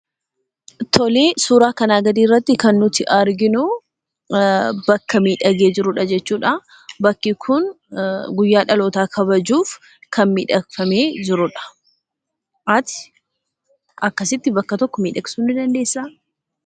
Tolee, suuraa kanaa gadiirratti kan nuti arginuu bakka miidhagee jirudha jechuudha. Bakki kun guyyaa dhalootaa kabajuuf kan miidhagfamee jirudha. Ati akkasitti bakka tokko miidhagsuu ni dandeessaa?